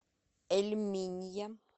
эль минья